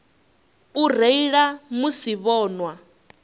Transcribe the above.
u reila musi vho nwa